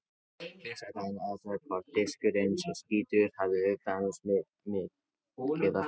Fyrst ætti að athuga hvort diskurinn sé skítugur, hafi til dæmis mikið af fingraförum.